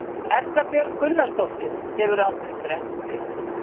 Erla Björg Gunnarsdóttir: Hefurðu aldrei brennt þig?